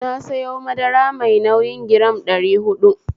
Na sayo madara mai nauyi giram ɗari huɗu